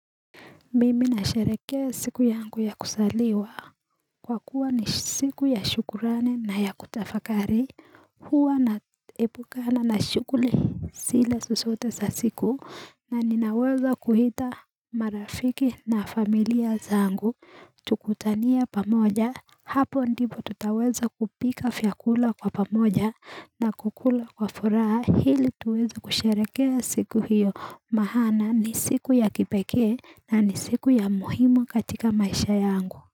Mimi nasherehekea siku yangu ya kuzaliwa kwa kuwa ni siku ya shukrani na ya kutafakari huwa naepukana na shughuli zile zozote za siku na ninaweza kuita marafiki na familia zangu tukutanie pamoja hapo ndipo tutaweza kupika vyakula kwa pamoja na kukula kwa furaha ili tuweze kusherehekea siku hiyo maana ni siku ya kipekee na ni siku ya muhimu katika maisha yangu.